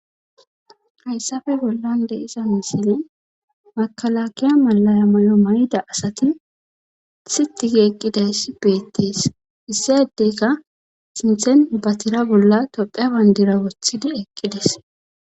hayssafe bollan de'iza misile makalakiya malaya mayo mayida asati siti gi eqqidayssi beettes iss adeyika sinthen ba tira bolla tophiya bandira wothidi eqqides